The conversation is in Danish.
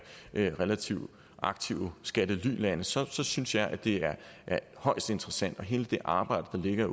relativt aktive skattelylande så så synes jeg at det er højst interessant hele det arbejde der ligger